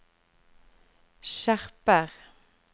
skjerper